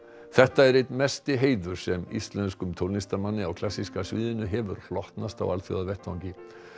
þetta er einn mesti heiður sem íslenskum tónlistarmanni á klassíska sviðinu hefur hlotnast á alþjóðavettvangi